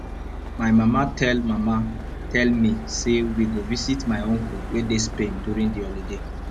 my mama tell mama tell me say we go visit my uncle wey dey spain during the holiday